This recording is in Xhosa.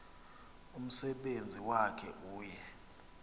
umsebenzi wakhe uye